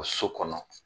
So kɔnɔ